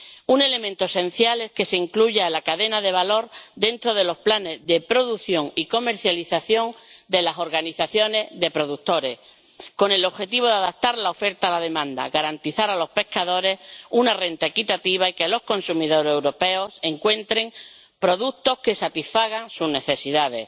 Un elemento esencial es que se incluya la cadena de valor dentro de los planes de producción y comercialización de las organizaciones de productores, con el objetivo de adaptar la oferta a la demanda, garantizar a los pescadores una renta equitativa y que los consumidores europeos encuentren productos que satisfagan sus necesidades.